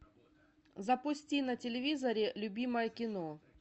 запусти на телевизоре любимое кино